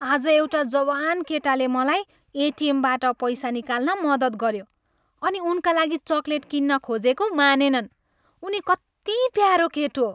आज एउटा जवान केटाले मलाई एटिएमबाट पैसा निकाल्न मद्दत गऱ्यो अनि उनका लागि चकलेट किन्न खोजेको, मानेनन्। उनी कति प्यारो केटो!